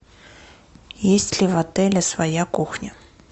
есть ли в отеле своя кухня